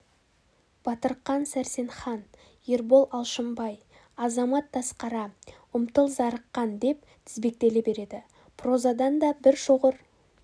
батырқан сәрсенхан ербол алшынбай азамат тасқара ұмтыл зарыққан деп тізбектеле береді прозадан да бір шоғыр